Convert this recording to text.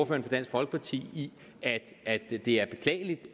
for dansk folkeparti i at det er beklageligt